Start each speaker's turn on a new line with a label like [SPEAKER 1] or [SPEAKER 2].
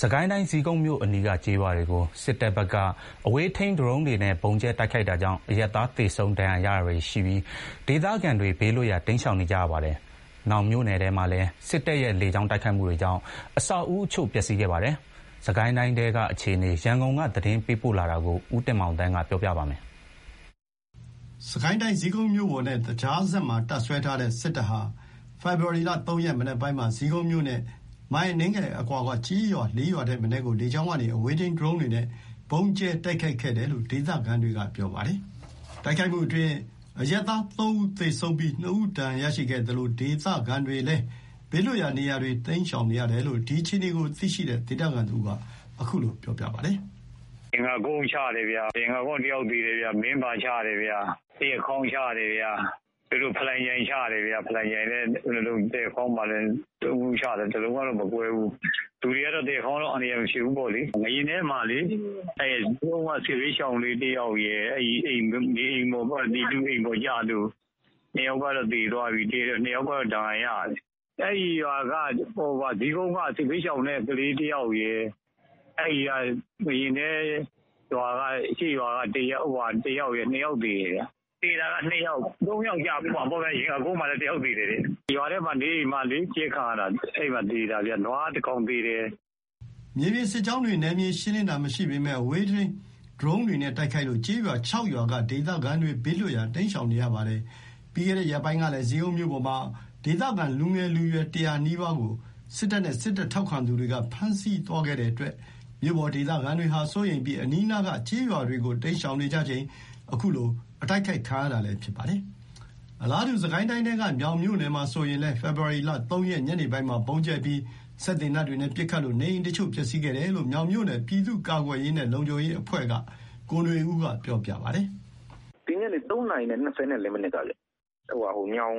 [SPEAKER 1] စစ်ကိုင်းတိုင်း ဇီးကုန်းမြို့အနီးက ကျေးရွာတွေကို စစ်တပ်ဘက်က အဝေးထိန်း ဒရုန်းတွေနဲ့ ဗုံးကြဲတိုက်ခိုက်တာကြောင့် အရပ်သား သေဆုံး ဒဏ်ရာရတာတွေရှိပြီး ဒေသခံတွေ ဘေးလွတ်ရာ တိမ်းရှောင်နေကြပါတယ်။ မြောင်မြို့နယ်ထဲမှာလည်း စစ်တပ်ရဲ့ လေကြောင်းတိုက်ခိုက်မှုတွေေကြောင့် အဆောက်အဦးအချို့ ပျက်စီးခဲ့ပါတယ်။ စစ်ကိုင်းတိုင်းထဲက အခြေအနေ ရန်ကုန်က သတင်းပေးပို့ထားပါတယ်။
[SPEAKER 2] စစ်ကိုင်းတိုင်း ဇီးကုန်းမြို့ပေါ်နဲ့ သကြားစက်မှာ တပ်စွဲထားတဲ့ စစ်တပ်ဟာ ဖေဖော်ဝါရီ ၃ ရက် မနက်ပိုင်းမှာ ဇီးကုန်းမြို့နဲ့ မိုင်အနည်းငယ်အကွာက ကျေးရွာ ၄ ရွာထက်မနည်းကို လေကြောင်းကနေ အဝေးထိန်း ဒရုန်းတွေနဲ့ ဗုံးကြဲတိုက်ခိုက်ခဲ့တယ်လို့ ဒေသခံတွေက ပြောပါတယ်။ တိုက်ခိုက်မှုအတွင်း အရပ်သား ၃ ဦး သေဆုံးပြီး ၂ ဦး ဒဏ်ရာရရှိခဲ့သလို ဒေသခံတွေလည်း ဘေးလွတ်ရာနေရာတွေ တိမ်းရှောင်နေရတယ်လို့ ဒီအခြေအနေကိုသိရှိတဲ့ ဒေသခံတဦးက အခုလို ပြော
[SPEAKER 3] ပါတယ်။ "ရင်ငတ်ကုန်းချတယ်။ ရင်ငတ်ကုန်းက တယောက်သေတယ်။ မင်းဘာ၊ သရက်ခေါင်းချတယ်။ ဖလံချိုင်ချတယ်။ သရက်ခေါင်းမှာက ၃ လုံးချတယ်။ ၁ လုံးကမကွဲဘူး။ လူတွေက သရက်ခေါင်းကတော့ အန္တရာယ် မဖြစ်ဘူးပေါ့လေ။ ငါးရားနဲမှာဆိုရင် ဇီးကုန်းက စစ်ဘေးရှောင်လေး တယောက်ရယ် ပြည်သူတွေ အိမ်အပေါ်ကျလို့ ၂ ယောက်ကတော့ သေတယ်။ ၂ ယောက်ကတော့ ဒဏ်ရာရတယ်။ အဲ့ဟာက ဇီးကုန်းက စစ်ဘေးရှောင် တယောက်ရယ် ငါးရာနဲ အရှေ့ရွာက ၁ ယောက်ရယ် ၂ ယောက်သေတယ်။ သေတာက ၃ ယောက်ကျမှာပေါ့။ သရက်ကုန်းမှာလည်း ၁ ယောက်သေတယ်။ ရွာထဲမှာ နေအိမ်မှာနေရင်း ကြဲခံရတာ။ နွား ၁ ကောင်သေတယ်။
[SPEAKER 2] " မြေပြင်စစ်ကြောင်းတွေ နယ်မြေရှင်းလင်းတာ မရှိပေမယ့် အဝေးထိန်း ဒရုန်းတွေနဲ့ တိုက်ခိုက်လို့ ကျေးရွာ ၆ ရွာက ဒေသခံတွေ ဘေးလွတ်ရာ တိမ်းရှောင်နေရပါတယ်။ ပြီးခဲ့တဲ့ ရက်ပိုင်းကလည်း ဇီးကုန်းမြို့ပေါ်မှာ ဒေသခံလူငယ်လူရွယ် ၁၀၀ နီးပါးကို စစ်တပ်နဲ့ စစ်တပ်ထောက်ခံသူတွေက ဖမ်းဆီးသွားတဲ့အတွက် မြို့ပေါ် ဒေသခံတွေဟာ စိုးရိမ်ပြီး အနီးနားက ကျေးရွာတွေကို တိမ်းရှောင်ကြချိန် အခုလို တိုက်ခိုက်ခံရတာလည်း ဖြစ်ပါတယ်။ အလားတူ စစ်ကိုင်းတိုင်းထဲကပဲ မြောင်မြို့နယ်မှာဆိုရင်လည်း ဖေဖော်ဝါရီ ၃ ရက် ညနေပိုင်းမှာ ဗုံးကြဲပြီး စက်သေနတ်တွေနဲ့ ပစ်ခတ်လို့ နေအိမ်အချို့ ပျက်စီးခဲ့တယ်လို့ မြောင်မြို့နယ် ပြည်သူ့ကာကွယ်ရေးနဲ့ လုံခြုံရေးအဖွဲ့က ကိုနွေဦးက ပြောပါ
[SPEAKER 1] တယ်။ "ဒီညနေ ၃ နာရီ ၂၄ မိနစ်ကခင်ဗျ။ မြောင်